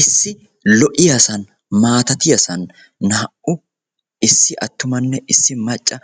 issi lo'iyaasan maatattiyasan naa"u issi attummanne issi macca